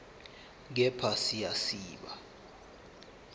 kepha siya siba